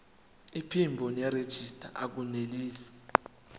iphimbo nerejista akunelisi